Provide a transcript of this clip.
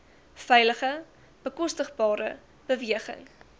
veilige bekostigbare beweging